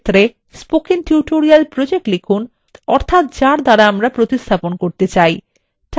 with ক্ষেত্রে spoken tutorial project লিখুন অর্থাত যার দ্বারা প্রতিস্থাপন করতে চাই